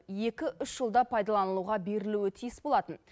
екі үш жылда пайдалануға берілуі тиіс болатын